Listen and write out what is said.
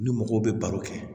Ni mɔgɔw bɛ baro kɛ